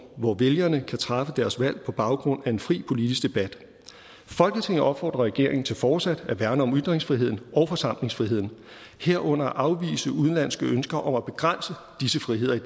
hvor vælgere kan træffe deres valg på baggrund af en fri politisk debat folketinget opfordrer regeringen til fortsat at værne om ytringsfriheden og forsamlingsfriheden herunder at afvise udenlandske ønsker om at begrænse disse friheder i